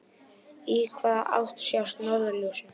Í hvaða átt sjást norðurljósin?